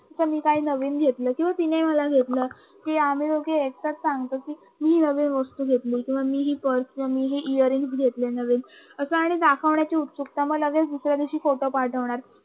मी काय नवीन घेतलं किंवा तिने मला घेतलं सांगतो की आ, मही दोग येक्त्यात सांगतो की मी नवी वस्तू घेतली किं मी हि पार्श हे इअर रिंग्स घेतले नवीन आणि दाखवण्याची उत्सुकता मग लगेच दुसऱ्या दिवशी लगेच फोटो पाठवणार